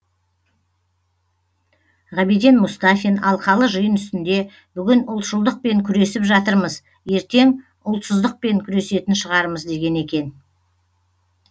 ғабиден мұстафин алқалы жиын үстінде бүгін ұлтшылдықпен күресіп жатырмыз ертең ұлтсыздықпен күресетін шығармыз деген екен